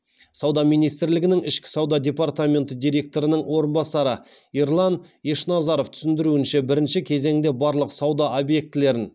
сауда министрлігінің ішкі сауда департаменті директорының орынбасары ерлан ешназаров түсіндіруінше бірінші кезеңде барлық сауда объектілерін